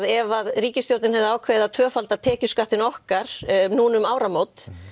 ef ríkisstjórnin hefði ákveðið að tvöfalda tekjuskattinn okkar nú um áramót